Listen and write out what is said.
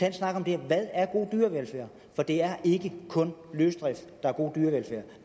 en snak om det her hvad er god dyrevelfærd for det er ikke kun løsdrift der er god dyrevelfærd